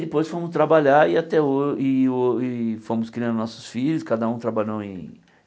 Depois fomos trabalhar e até ho e ho e fomos criando nossos filhos cada um trabalhou em.